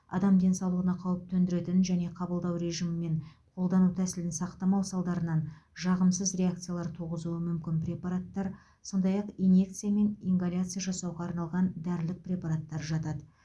адам денсаулығына қауіп төндіретін және қабылдау режимі мен қолдану тәсілін сақтамау салдарынан жағымсыз реакциялар туғызуы мүмкін препараттар сондай ақ инъекция мен ингаляция жасауға арналған дәрілік препараттар жатады